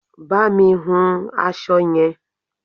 Bá mi hun aṣọ yẹn!